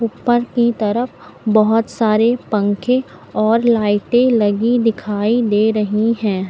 ऊपर की तरफ बहुत सारे पंखे और लाइटें लगी दिखाई दे रही हैं।